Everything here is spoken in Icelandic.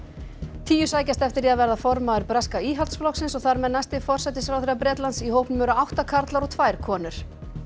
tíu sækjast eftir því að verða formaður breska Íhaldsflokksins og þar með næsti forsætisráðherra Bretlands í hópnum eru átta karlar og tvær konur